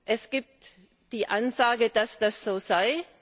Es gibt die Ansage, dass das so sei.